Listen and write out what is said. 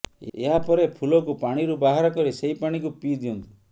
ଏହାପରେ ଫୁଲକୁ ପାଣିରୁ ବାହାର କରି ସେହି ପାଣିକୁ ପିଇ ଦିଅନ୍ତୁ